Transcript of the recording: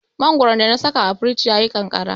Mangoron da na saka a firij ya yi ƙanƙara.